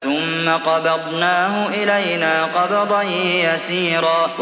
ثُمَّ قَبَضْنَاهُ إِلَيْنَا قَبْضًا يَسِيرًا